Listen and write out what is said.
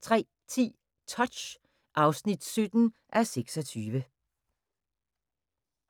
03:10: Touch (17:26)